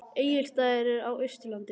Egilsstaðir eru á Austurlandi.